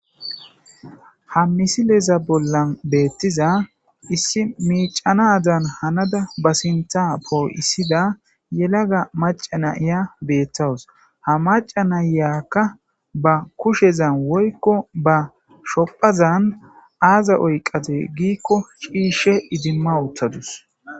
ha misileza bollan beettiza issi miicanadan hanada ba sinta poo7issida yelaga macana iya beettawus ha maca nayyakka ba kushezan woykko ba shophazan aaza oyqate giikko ciishe idimma uttadus